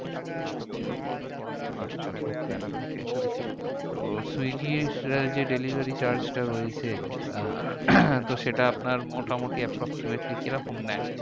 আচ্ছা okay okay তো swiggy র যে delivery charge টা রয়েছে, আহ তো সেটা আপনার মোটামুটি approximately কিরকম নেয়?